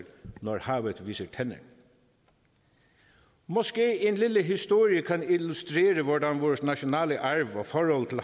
når havet viser tænder måske kan en lille historie illustrere hvordan vores nationale